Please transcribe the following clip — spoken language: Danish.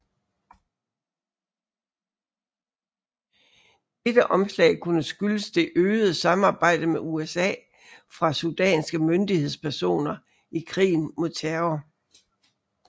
Dette omslag kunne skyldes det øgede samarbejde med USA fra sudanske myndighedspersoner i krigen mod terror